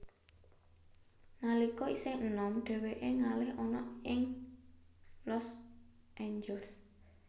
Nalika isih enom dheweke ngalih ana ing Los Angeles